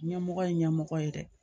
Ɲɛmɔgɔ ye ɲɛmɔgɔ ye dɛ